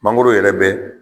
Mangoro yɛrɛ bɛ